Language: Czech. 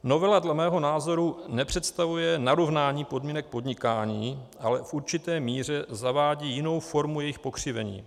Novela dle mého názoru nepředstavuje narovnání podmínek podnikání, ale v určité míře zavádí jinou formu jejich pokřivení.